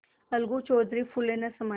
अलगू चौधरी फूले न समाये